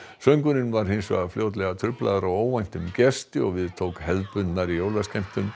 söngurinn var hins vegar fljótlega truflaður af óvæntum gesti og við tók hefðbundnari jólaskemmtun